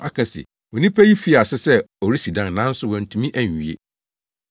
aka se, ‘Onipa yi fii ase sɛ ɔresi dan, nanso wantumi anwie.’